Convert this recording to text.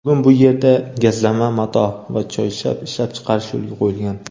Bugun bu yerda gazlama mato va choyshab ishlab chiqarish yoʼlga qoʼyilgan.